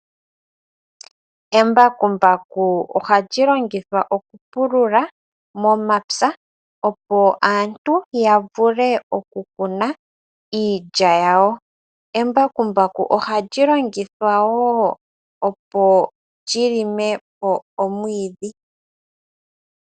Embakumbaku oha lyi longithwa okupulula momapya opo aantu ya vule okukuna iilya yawo. Embakumbaku oha lyi longithwa wo opo lyi lime po omwiidhi.